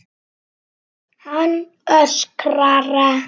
Hann öskrar.